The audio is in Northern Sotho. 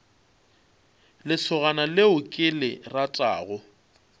lesogana leo ke le ratago